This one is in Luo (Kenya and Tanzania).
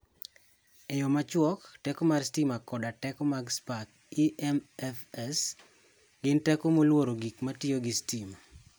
E yo machuok: Teko mar sitima koda teko mag spak (EMFs) gin teko molworo gik matiyo gi sitima.